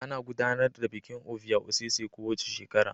Ana gudanar da bikin Ovia osese kowace shekara